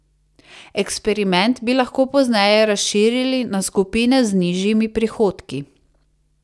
Eksperiment bi lahko pozneje razširili na skupine z nižjimi prihodki.